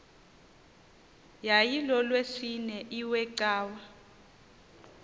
yayilolwesine iwe cawa